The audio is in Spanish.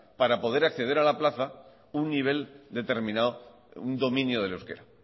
para poder acceder a la plaza un nivel determinado un dominio del euskera